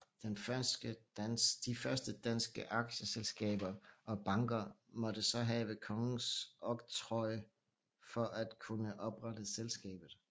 De første danske aktieselskaber og banker måtte så have kongens oktroj for at kunne oprette selskabet